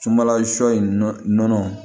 Sunbala shɔ in nɔnɔ